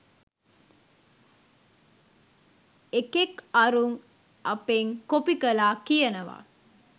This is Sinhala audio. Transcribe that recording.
එකෙක් අරුං අපෙං කොපි කලා කියනව